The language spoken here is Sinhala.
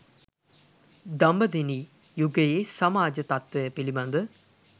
දඹදෙණි, යුගයේ සමාජ තත්ත්වය පිළිබඳ